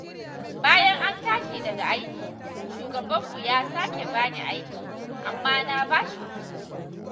Bayan an tashi daga aiki, shugabanmu ya sake ba ni aiki, amma na ba shi uziri.